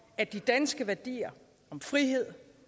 at de danske værdier om frihed